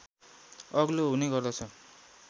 अग्लो हुने गर्दछ